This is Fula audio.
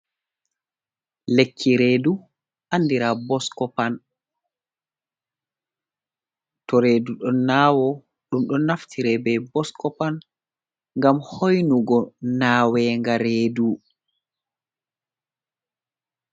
Lekki redu andira boskopan, to redu ɗon nawo ɗum ɗon naftire be boskopan ngam hoinugo nawen ga redu.